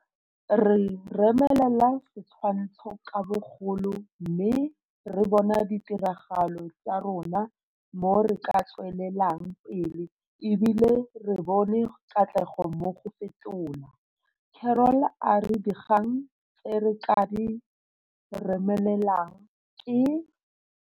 Re remelela setshwantsho ka bogolo mme re bona ditiragalo tsa rona mo re ka tswelelang pele e bile re bone katlego mo go fetola. Carroll a re dikgang tse re ka di remelelang ke.